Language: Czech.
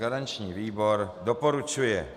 Garanční výbor doporučuje.